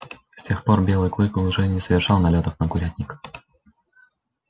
с тех пор белый клык уже не совершал налётов на курятник